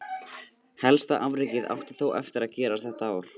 Helsta afrekið átti þó eftir gerast þetta ár.